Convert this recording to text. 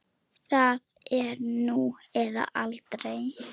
Það er nú eða aldrei.